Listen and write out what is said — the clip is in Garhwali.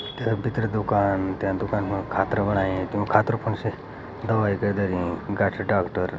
भीतर-भीतर दूकान ते दूकान मा खातर बणाई त खातर फुन सी दवे से धरीं गाठी दल तर।